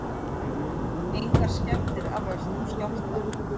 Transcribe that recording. Engar skemmdir af völdum skjálfta